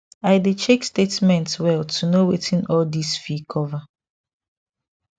i dey check statement well to know wetin all this fee cover